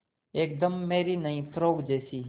एकदम मेरी नई फ़्रोक जैसी